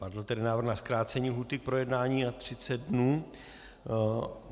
Padl tedy návrh na zkrácení lhůty k projednání na 30 dnů.